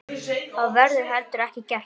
Það verður heldur ekki gert.